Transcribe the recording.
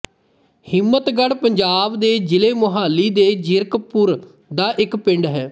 ਹਿੰਮਤਗੜ੍ਹ ਪੰਜਾਬ ਦੇ ਜ਼ਿਲ੍ਹਾ ਮੋਹਾਲੀ ਦੇ ਜ਼ੀਰਕਪੁਰ ਦਾ ਇੱਕ ਪਿੰਡ ਹੈ